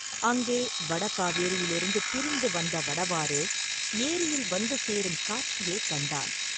அங்கே வட காவேரியிலிருந்து பிரிந்து வந்த வடவாறு, ஏரியில் வந்து சேரும் காட்சியைக் கண்டான்.